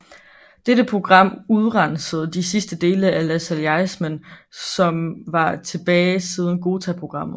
Dette program udrensede de sidste dele af lassalleismen som var tilbage siden Ghotaprogrammet